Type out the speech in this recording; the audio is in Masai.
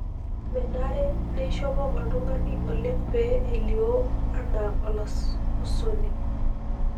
Menare neishopo oltung'ani oleng pee elio anaa olakusoni.